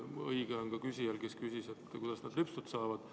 Õigus on ka küsijal, kes küsis, kuidas lehmad lüpstud saavad.